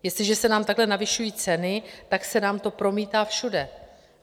Jestliže se nám takhle navyšují ceny, tak se nám to promítá všude.